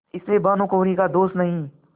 इसमें भानुकुँवरि का दोष नहीं